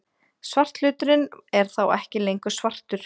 Svarthluturinn er þá ekki lengur svartur!